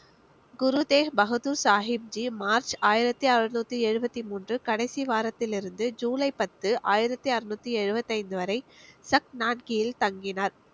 குரு Tegh Bahadur Sahib ji March ஆயிரத்தி அறுநூத்தி எழுவத்தி மூன்று கடைசி வாரத்திலிருந்து ஜூலை பத்து ஆயிரத்தி அறுநூத்தி எழுவத்தி ஐந்து வரை சக்னான்கியில் தங்கினார்